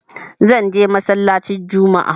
Zan je masallaci anjima